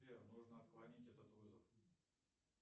сбер нужно отклонить этот вызов